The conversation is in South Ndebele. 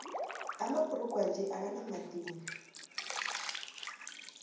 amabhrugu wanje akanamadini